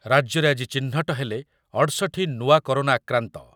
ରାଜ୍ୟରେ ଆଜି ଚିହ୍ନଟ ହେଲେ ଅଠଷଠି ନୂଆ କରୋନା ଆକ୍ରାନ୍ତ ।